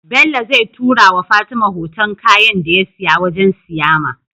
Bello zai tura wa fatima hoton kayan da yasiya wajan siyama